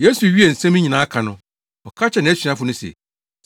Yesu wiee nsɛm yi nyinaa ka no, ɔka kyerɛɛ nʼasuafo no se,